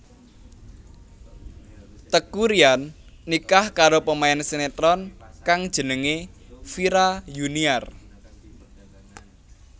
Teuku Ryan nikah karo pemain sinetron kang jenengé Vira Yuniar